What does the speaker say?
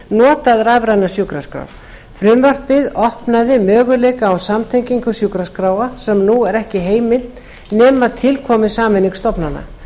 notað rafrænar sjúkraskrár frumvarpið opnaði möguleika á samtengingu sjúkraskráa sem nú er ekki heimil nema til komi sameining stofnana